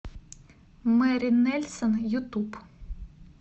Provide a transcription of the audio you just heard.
мэри нельсон ютуб